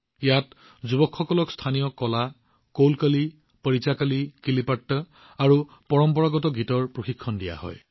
ইয়াত যুৱকসকলক স্থানীয় কলা কোলকলি পৰিচাকলি কিলিপাট আৰু পৰম্পৰাগত গীতৰ প্ৰশিক্ষণ দিয়া হয়